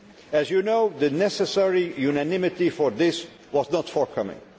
treaty. As you know, the necessary unanimity for this was not forthcoming.